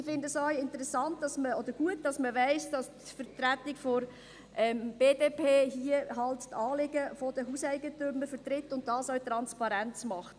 Ich finde es auch gut, dass man weiss, dass die Vertretung der BDP die Anliegen der Hauseigentümer vertritt, und das auch transparent macht.